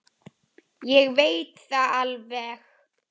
Ég veit það alveg.